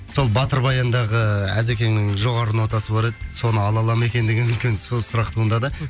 сол батыр баяндағы әзекеңнің жоғары нотасы бар еді соны ала ала ма екен деген үлкен сұрақ туындады